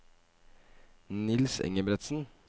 Niels Engebretsen